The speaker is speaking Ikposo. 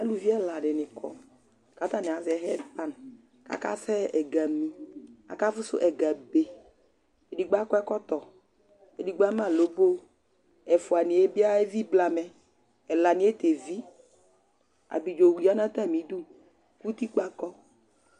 Aluvi ɛla di ni kɔ, ka ta ni azɛ hedpann ka ka sɛ ɛga mí, ka ka fu su ɛga be , edigbo akɔ ɛkɔtɔ, edigbo ama lobo, efuaniɛ bi evi blamɛ, ɛlaniɛ t'evi Abidzo wu ya nu ata mídu ku utikpa kɔ